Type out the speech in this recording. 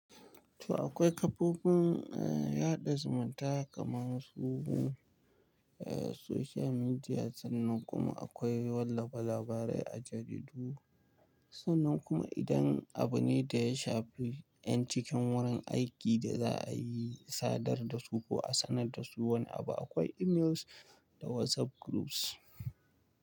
Toh akwai kafofin, eh yaɗa zumunta kamar su eh social media sannan kuma akwai wallafa labarai a jaridu. Sannan kuma idan abune da ya shafi ‘yan cikin wurin aiki da za a yi sadar da su ko a sanar da su wani abu akwai emails da WhatsApp groups.